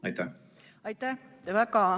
Aitäh!